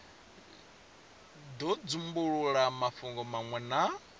do dzumbulula mafhungo manwe na